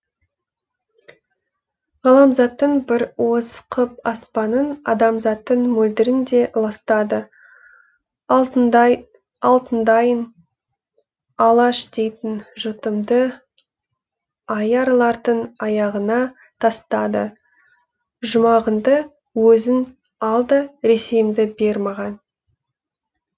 ғаламзаттың бір уыс қып аспанын адамзаттың мөлдірін де ластады алтындайын алаш дейтін жұртымды аярлардың аяғына тастады жұмағыңды өзің ал да ресейімді бер маған